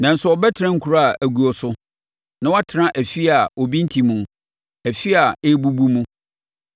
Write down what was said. nanso wɔbɛtena nkuro a aguo so na wɔatena afie a obi nte mu, afie a ɛrebubu mu.